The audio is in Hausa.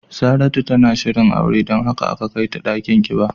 Saratu na shirin aure don haka aka kai ta dakin kiba.